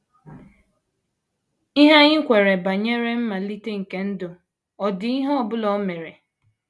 “ Ihe anyị kweere banyere mmalite nke ndụ ọ̀ dị ihe ọ bụla o mere? ”